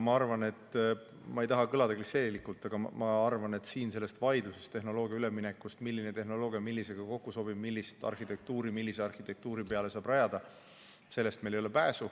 Ma ei taha kõlada klišeelikult, aga ma arvan, et siin sellest tehnoloogia ülemineku vaidlusest, milline tehnoloogia millisega kokku sobib, millist arhitektuuri millise arhitektuuri peale saab rajada, meil pääsu ei ole.